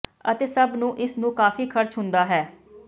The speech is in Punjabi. ਅਤੇ ਸਭ ਨੂੰ ਇਸ ਨੂੰ ਕਾਫ਼ੀ ਖਰਚ ਹੁੰਦਾ ਹੈ